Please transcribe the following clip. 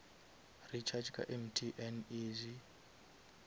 recharga ka mtn easy